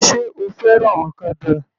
Sé o fẹ́ràn ọ̀kadà?